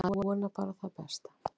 Maður vonar bara það besta.